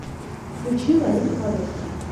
включи лолита волошина